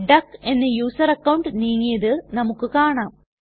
duck എന്ന user account നീങ്ങിയത് നമുക്ക് കാണാം